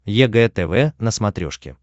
егэ тв на смотрешке